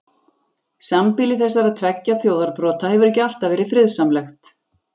Sambýli þessara tveggja þjóðarbrota hefur ekki alltaf verið friðsamlegt.